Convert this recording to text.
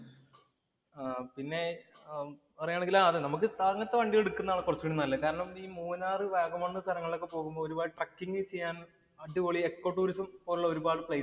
ആഹ് പിന്നെ പറയുകയാണെങ്കില്‍ അത് നമുക്ക് സാറിനിപ്പോ വണ്ടി എടുക്കുന്നതാണ് കൊറച്ചു കൂടെ നല്ലേ. കാരണം ഈ മൂന്നാറ്, വാഗമണ് എന്നൊക്കെ പറയുന്ന സ്ഥലങ്ങളില്‍ പോകുമ്പോ ഒരു ട്രക്കിംഗ് ചെയ്യാന്‍ അടിപൊളി എക്കോ ടൂറിസം പോലുള്ള ഒരു പാട് പ്ലയിസ്